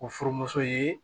O furumuso ye